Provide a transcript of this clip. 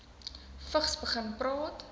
vigs begin praat